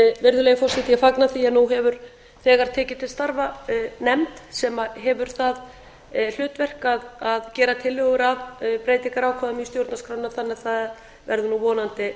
virðulegi forseti ég fagna því að nú hefur þegar tekið til starfa nefnd sem hefur það hlutverk að gera tillögur að breytingarákvæðum í stjórnarskránni þannig að það verður nú vonandi